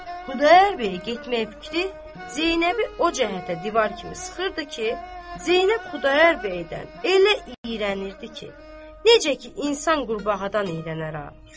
Xudayar bəyə getmək fikri Zeynəbi o cəhətə divar kimi sıxırdı ki, Zeynəb Xudayar bəydən elə iyrənirdi ki, necə ki insan qurbağadan iyrənər a.